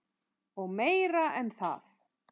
Og meira en það.